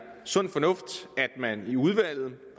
sund fornuft at man i udvalget